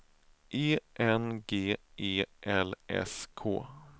E N G E L S K